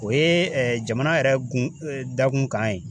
O ye jamana yɛrɛ gun dakun kan ye.